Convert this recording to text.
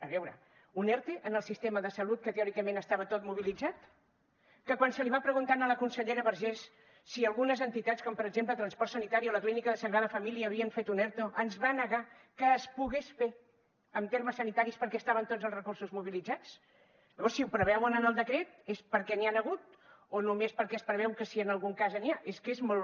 a veure un erte en el sistema de salut que teòricament estava tot mobilitzat que quan se li va preguntar a la consellera vergés si algunes entitats com per exemple transport sanitari o la clínica sagrada família havien fet un erto ens va negar que es pogués fer en termes sanitaris perquè estaven tots els recursos mobilitzats llavors si ho preveuen en el decret és perquè n’hi han hagut o només perquè es preveu que si en algun cas n’hi ha és que és molt